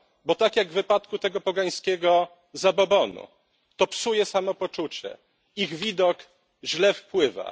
Bo tak jak w przypadku tego pogańskiego zabobonu, to psuje samopoczucie, ich widok źle wpływa.